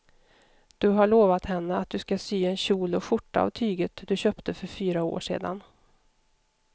Du har lovat henne att du ska sy en kjol och skjorta av tyget du köpte för fyra år sedan.